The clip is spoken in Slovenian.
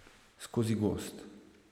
Skozi gozd.